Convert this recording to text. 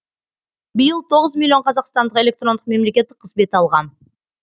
биыл тоғыз миллион қазақстандық электрондық мемлекеттік қызмет алған